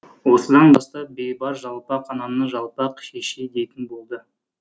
осыдан бастап бейбарс жалпақ ананы жалпақ шешей дейтін болды